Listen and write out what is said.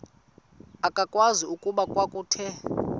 akwazeki okokuba kwakuthe